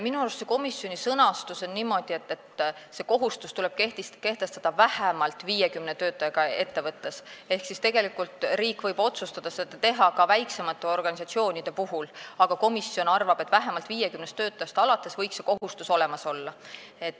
Minu arust on komisjon sõnastanud niimoodi, et see kohustus tuleb kehtestada vähemalt 50 töötajaga ettevõttes ehk tegelikult riik võib otsustada seda teha ka väiksemate organisatsioonide puhul, aga komisjon arvab, et vähemalt 50 töötajast alates võiks see kohustus olemas olla.